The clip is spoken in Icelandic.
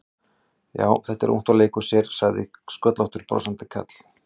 Já, þetta er ungt og leikur sér sagði sköllóttur brosandi karl.